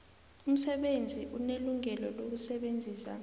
umsebenzi unelungelo lokusebenzisa